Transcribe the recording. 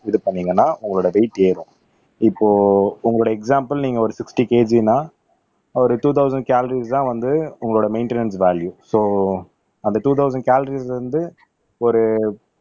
இது பண்ணீங்கன்னா உங்களோட வெயிட் ஏறும் இப்போ உங்களுடைய எக்சாம்பல் நீங்க ஒரு சிக்ஸ்ட்டி கேஜின்னா ஒரு டூ தொளசண்ட் கலோரிஸ் தான் வந்து உங்களோட மெய்ண்டனன்ஸ் வால்யு சோ அந்த டூ தொளசண்ட் கலோரிஸ் வந்து ஒரு